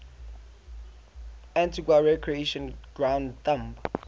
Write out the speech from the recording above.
antigua recreation ground thumb